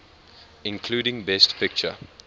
including best picture